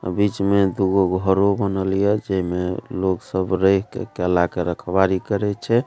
आ बीच में दु गो घरो बनल ये जेमे लोग सब रह के केला के रखवाली करय छै।